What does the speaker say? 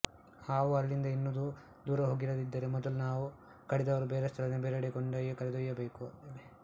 ಹಾವು ಅಲ್ಲಿಂದ ಇನ್ನೂ ದೂರ ಹೋಗಿರದಿದ್ದರೆ ಮೊದಲು ಹಾವು ಕಡಿದವರನ್ನು ಆ ಸ್ಥಳದಿಂದ ಬೇರೆಡೆಗೆ ಕರೆದೊಯ್ಯಬೇಕು